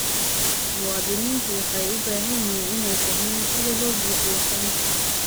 Muwaadiniintu waxay u baahan yihiin inay fahmaan sida loo buuxiyo foomka.